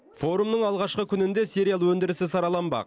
форумның алғашқы күнінде сериал өндірісі сараланбақ